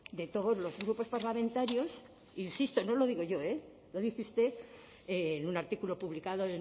de todos los grupos parlamentarios insisto no lo digo yo eh lo dice usted en un artículo publicado